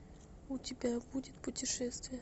у тебя будет путешествие